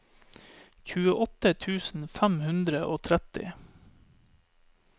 tjueåtte tusen fem hundre og tretti